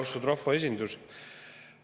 Austatud rahvaesindus!